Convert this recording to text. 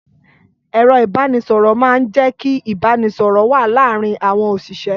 Ẹ̀rọ ìbánisọ̀rọ̀ máa ń jẹ́ kí ìbánisọ̀rọ̀ wà láàárín àwọn òṣìṣẹ́.